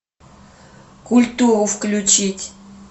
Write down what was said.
культуру включить